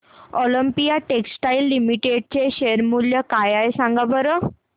Olympia textiles limited चे share मूल्य काय आहे सांगा बरं